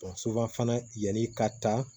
fana yanni ka taa